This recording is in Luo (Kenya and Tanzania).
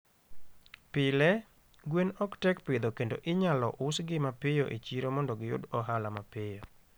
Pile, gwen ok tek pidho kendo inyalo usgi mapiyo e chiro mondo giyud ohala mapiyo.